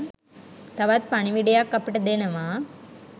තවත් පණිවිඩයක් අපිට දෙනවා.